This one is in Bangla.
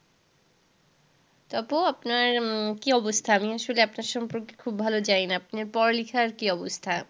আপু আপনার উম কি অবস্থা? আমি আসলে আপনার সম্পর্কে খুব ভালো জানি না। আপনার পড়ালিখার কি অবস্থা?